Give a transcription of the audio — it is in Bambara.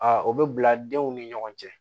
A o bɛ bila denw ni ɲɔgɔn cɛ